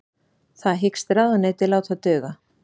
Það hyggst ráðuneytið láta duga